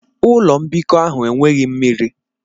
Ụlọ mbikọ ahụ enweghị mmiri.